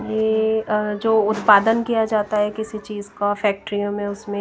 ये जो उत्पादन किया जाता है किसी चीज का फॅक्टरीयो में उसमें--